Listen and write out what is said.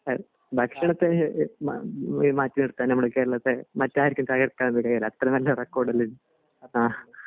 ഭക്ഷണത്തിനെ മാറ്റി നിർത്താൻ നമ്മുടെ കേരളത്തെ മറ്റാർക്കും അത്ര നല്ല റെക്കോർഡ് അല്ലെർന്നു അഹ്